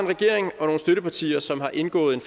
regering og nogle støttepartier som har indgået en